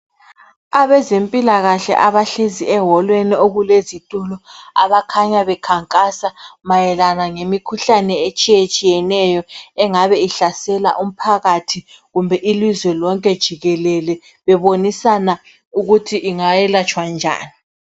Abezempilakahle abahlezi eWolweni okulezitulo abakhanya bekhankasa mayelana ngemikhuhlane etshiyetshiyeneyo engabe ihlasela umphakathi kumbe ilizwe lonke jikelele bebonisana ukuthi ingayelatshwa njani.